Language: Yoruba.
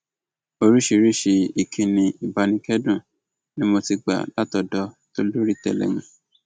oríṣiríṣiì ìkíni ìbánikẹdùn ni mo ti gbà látọdọ tolórí tẹlẹmù